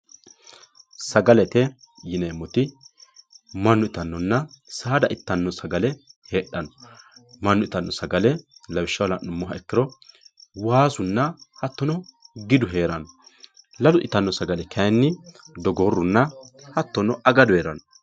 sagalete yineemmoti mannu itannonna saada ittanno sagale heedhanno mannu itanno sagale lawishshaho la'numoha ikkiro waasunna hattono gidu heeranno lalu itanno sagale kayiinni dogoorunna agadu heeranno.